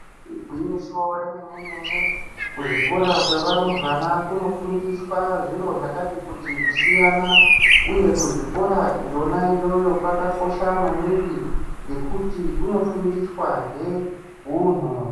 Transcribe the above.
Igwinyiso remenemene kuzvikora kwewarumbwana kunofundiswa zviro zvakati kuti kusiyana. Uye kuzvikora yona iyoyo kwakakosha maningi ngekuti kunofundiswahe hunhu.